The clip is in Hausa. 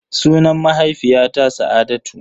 Sunan mahaifiyata Sa'adatu.